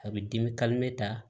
A bɛ dimi ta